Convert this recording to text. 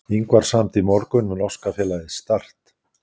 Ingvar samdi í morgun við norska félagið Start.